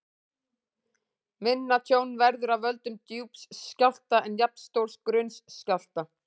Minna tjón verður af völdum djúps skjálfta en jafnstórs grunns skjálfta.